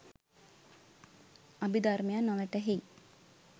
අභිදර්මය නොවැටහෙයි